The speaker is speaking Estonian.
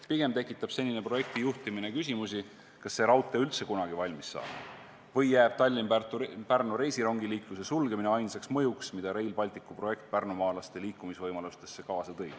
Pigem tekitab senine projekti juhtimine küsimusi, kas see raudtee üldse kunagi valmis saab või jääb Tallinna–Pärnu reisirongiliikluse sulgemine ainsaks mõjuks, mille Rail Balticu projekt pärnumaalastele liikumisvõimalustega seoses kaasa tõi.